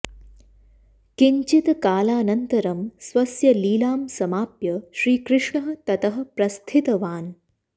किञ्चित् कालानन्तरं स्वस्य लीलां समाप्य श्रीकृष्णः ततः प्रस्थितवान्